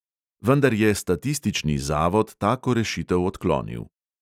Vendar je statistični zavod tako rešitev odklonil.